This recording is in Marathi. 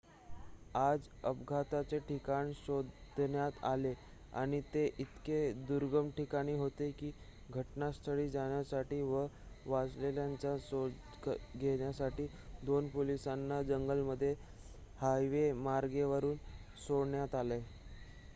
आज अपघाताचे ठिकाण शोधण्यात आले आणि ते इतके दुर्गम ठिकाणी होते की घटनास्थळी जाण्यासाठी व वाचलेल्यांचा शोध घेण्यासाठी 2 पोलिसांना जंगलामध्ये हवाईमार्गाने वरून सोडण्यात आले